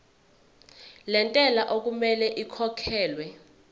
lentela okumele ikhokhekhelwe